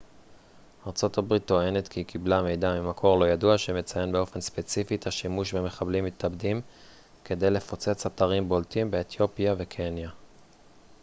ארה ב טוענת כי היא קיבלה מידע ממקור לא ידוע שמציין באופן ספציפי את השימוש במחבלים מתאבדים כדי לפוצץ אתרים בולטים באתיופיה וקניה